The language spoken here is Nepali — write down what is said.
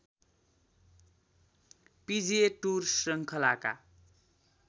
पिजिए टुर श्रृङ्खलाका